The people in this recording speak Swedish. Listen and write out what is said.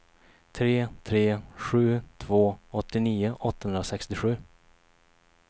tre tre sju två åttionio åttahundrasextiosju